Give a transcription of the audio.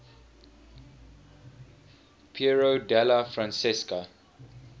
piero della francesca